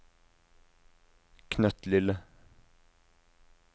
knøttlille